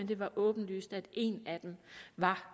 det var åbenlyst at en af dem var